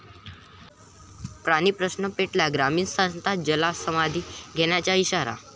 पाणीप्रश्न पेटला, ग्रामस्थांचा जलसमाधी घेण्याचा इशारा